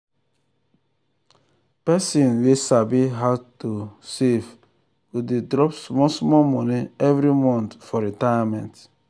person wey sabi how to how to save go dey drop small small money every month for retirement.